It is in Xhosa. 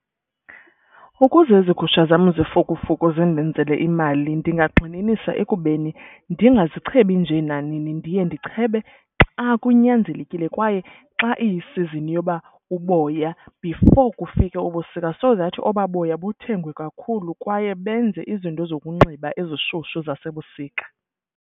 Ukuze ezi gusha zam zifukufuku zindenzele imali ndingagxininisa ekubeni ndingazichebi njee nanini. Ndiye ndichebe xa kunyanzelekile kwaye xa iyisizini yoba uboya. Before kufika ubusika so that obaa boya buthengwe kakhulu kwaye benze izinto zokunxiba ezishushu zasebusika.